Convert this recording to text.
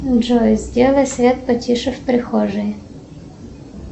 джой сделай свет потише в прихожей